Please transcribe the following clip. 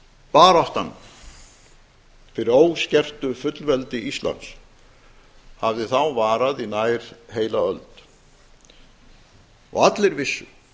baráttan fyrir óskertu fullveldi íslands hafði þá varað í nær heila öld og allir vissu